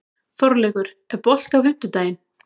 Þorleikur, er bolti á fimmtudaginn?